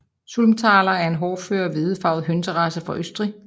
Sulmtaler er en hårdfør hvedefarvet hønserace fra Østrig